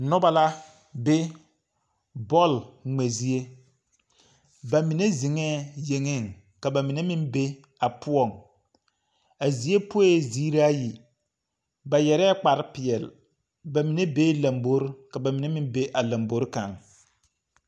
Noba la be bɔle ŋmɛ zie ba mine zeŋɛɛ yeŋeŋ ka ba mine meŋbe a poɔŋ. A zie poe ziiri ayi. Ba yɛrɛɛ kpare peɛle ba mine bee lambori ka ba mine meŋ be a lambori kaŋ.